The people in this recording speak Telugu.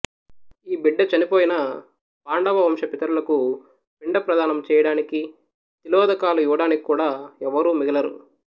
ఈ బిడ్డ చనిపోయిన పాండవ వంశపితరులకు పిండప్రధానము చెయ్యడానికి తిలోదకాలు ఇవ్వడానికి కూడా ఎవ్వరూ మిగలరు